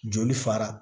Joli fara